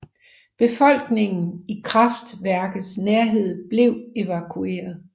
Befolkningen i kraftværkets nærhed blev evakueret